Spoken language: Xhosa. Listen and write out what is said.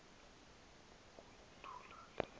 uku yithula le